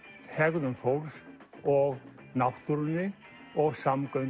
hegðun fólks og náttúrunni og samgöngum